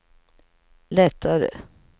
lättare